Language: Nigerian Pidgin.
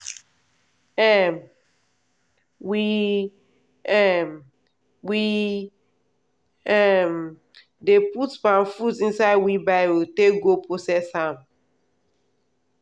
um we um we um dey put palm fruit inside wheelbarrow take go process am.